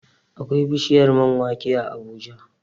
Akwai bishiyar man wake a Abuja